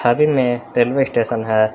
तस्वीर में railway station है।